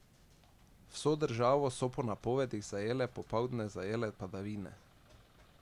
Vso državo so po napovedih zajele popoldne zajele padavine.